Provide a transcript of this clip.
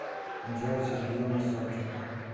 анжела сергеевна савченко